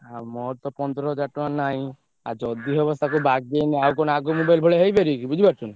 ଆଉ ମୋର ତ ପନ୍ଦର୍ ହାଜ଼ାର୍ ଟଙ୍କା ନାଇଁ ଆଉ ଯଦି ହବ ତାକୁ ବାଗେଇନେ ଆଉ କଣ ଆଗ mobile ଭଳିଆ ହେଇ ପାରିବ କି ବୁଝି ପାରୁଚ୍ଛ ନା!